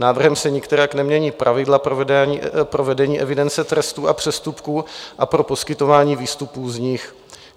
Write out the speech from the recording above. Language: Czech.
Návrhem se nikterak nemění pravidla pro vedení evidence trestů a přestupků a pro poskytování výstupů z nich.